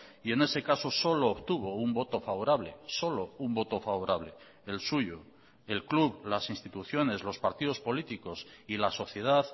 y en ese caso solo obtuvo un voto favorable solo un voto favorable el suyo el club las instituciones los partidos políticos y la sociedad